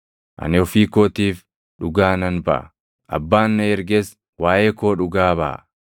Ani ofii kootiif dhugaa nan baʼa; Abbaan na erges waaʼee koo dhugaa baʼa.”